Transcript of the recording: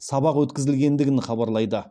сабақ өткізілгендігін хабарлайды